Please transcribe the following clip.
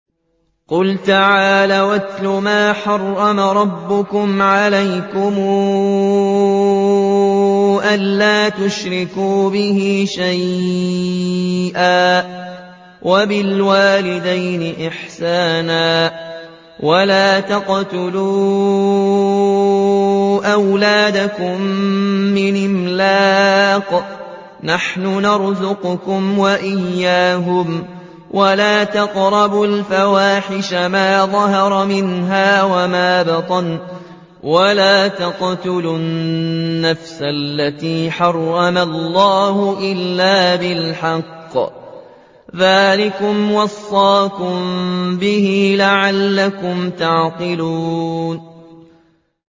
۞ قُلْ تَعَالَوْا أَتْلُ مَا حَرَّمَ رَبُّكُمْ عَلَيْكُمْ ۖ أَلَّا تُشْرِكُوا بِهِ شَيْئًا ۖ وَبِالْوَالِدَيْنِ إِحْسَانًا ۖ وَلَا تَقْتُلُوا أَوْلَادَكُم مِّنْ إِمْلَاقٍ ۖ نَّحْنُ نَرْزُقُكُمْ وَإِيَّاهُمْ ۖ وَلَا تَقْرَبُوا الْفَوَاحِشَ مَا ظَهَرَ مِنْهَا وَمَا بَطَنَ ۖ وَلَا تَقْتُلُوا النَّفْسَ الَّتِي حَرَّمَ اللَّهُ إِلَّا بِالْحَقِّ ۚ ذَٰلِكُمْ وَصَّاكُم بِهِ لَعَلَّكُمْ تَعْقِلُونَ